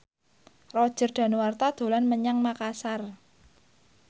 Roger Danuarta dolan menyang Makasar